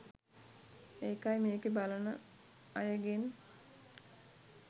ඒකයි මේකෙ බලන අයගෙන්